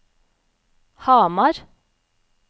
Hamar